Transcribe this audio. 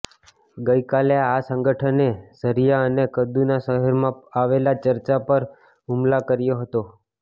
ગઈ કાલે આ સંગઠને ઝરિયા અને કદુના શહેરમાં આવેલાં ચર્ચો પર હુમલા કર્યા હતા